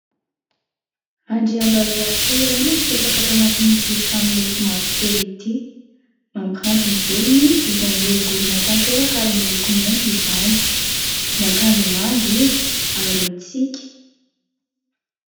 Andriambavilanitra iray no mipetraka ato anatin'ity trano moloko mavokely ity. Mampiranty ny volony izy izay miorongorona tanteraka ary moloko mainty izany. Miakanjo manga izy ary mitsiky